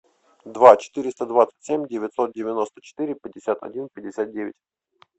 два четыреста двадцать семь девятьсот девяносто четыре пятьдесят один пятьдесят девять